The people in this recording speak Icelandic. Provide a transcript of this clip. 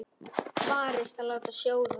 Varist að láta sjóða.